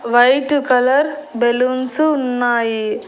White colour balloons ఉన్నాయి.